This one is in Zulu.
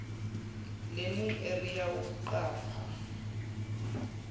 learning area yokuqapha